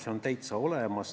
See on täitsa olemas.